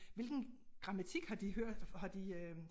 Hvilken grammatik har de hørt har de øh